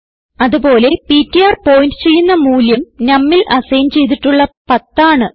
അത് പോലെ PTR point ചെയ്യുന്ന മൂല്യം numൽ അസൈൻ ചെയ്തിട്ടുള്ള 10 ആണ്